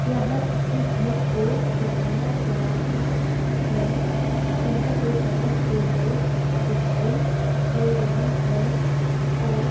यहां किसी घर को बनाया जा रहा हैं। जहां पे बहोत से लोग दिखाई दे रहे हैं और--